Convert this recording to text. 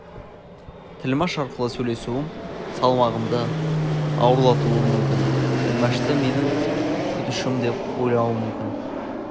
тілмәш арқылы сөйлесуім салмағымды ауырлатуы мүмкін тілмәшті менің күтушім деп ойлауы мүмкін